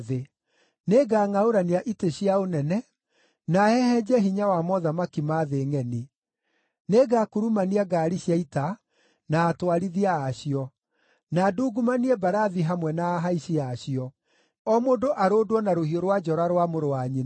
Nĩngangʼaũrania itĩ cia ũnene, na hehenje hinya wa mothamaki ma thĩ ngʼeni. Nĩngakurumania ngaari cia ita, na atwarithia a cio; na ndungumanie mbarathi hamwe na ahaici a cio, o mũndũ arũndwo na rũhiũ rwa njora rwa mũrũ wa nyina.